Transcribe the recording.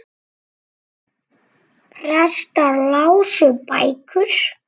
Prestar lásu bækur.